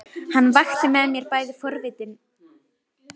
Hann vakti með mér bæði forvitni og ótta.